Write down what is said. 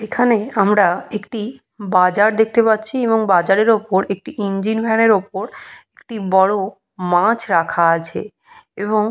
এখানে আমরা একটি বাজার দেখতে পাচ্ছি এবং বাজারে উপর একটি ইঞ্জিনভ্যানের উপর একটি বড় মাছ রাখা আছে এবং --